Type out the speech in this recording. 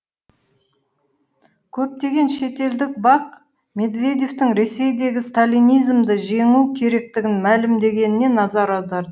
көптеген шетелдік бақ медведевтің ресейдегі сталинизмді жеңу керектігін мәлімдегеніне назар аударды